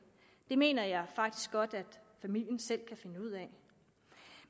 det mener jeg faktisk godt at familien selv kan finde ud af